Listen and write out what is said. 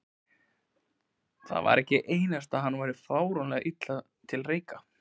Það var ekki einasta að hann væri frámunalega illa til reika.